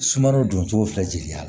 Sumanrow don cogo fila jeli la